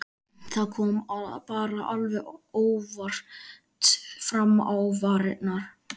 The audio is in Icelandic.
Það kom bara alveg óvart fram á varirnar.